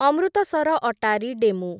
Amritsar Attari DEMU